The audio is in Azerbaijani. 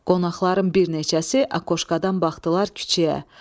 Qonaqların bir neçəsi akoşkadan baxdılar küçəyə.